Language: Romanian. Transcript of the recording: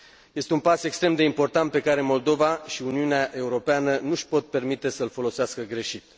Este un pas extrem de important pe care Moldova și Uniunea Europeană nu își pot permite să îl folosească greșit.